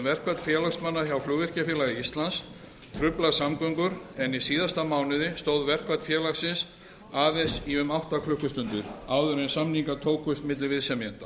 verkfall félagsmanna hjá flugvirkjafélagi íslands truflar samgöngur en í síðasta mánuði stóð verkfall félagsins aðeins í um átta klukkustundir áður en samningar tókust milli viðsemjenda